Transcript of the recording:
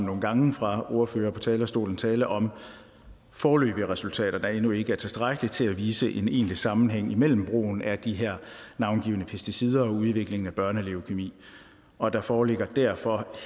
nogle gange fra ordførere på talerstolen tale om foreløbige resultater der endnu ikke er tilstrækkelige til at vise en egentlig sammenhæng mellem brugen af de her navngivne pesticider og udviklingen af børneleukæmi og der foreligger derfor